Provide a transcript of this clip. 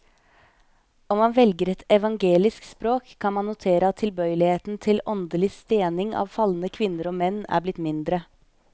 Om man velger et evangelisk språk, kan man notere at tilbøyeligheten til åndelig stening av falne kvinner og menn er blitt mindre.